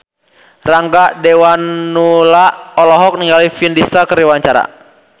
Rangga Dewamoela olohok ningali Vin Diesel keur diwawancara